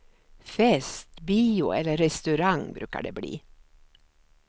Fest, bio eller restaurang brukar det bli.